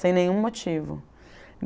Sem nenhum motivo.